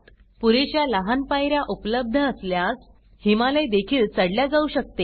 पुरेश्या लहान पायऱ्या उपलब्ध असल्यास हिमालय देखील चढल्या जाऊ शकते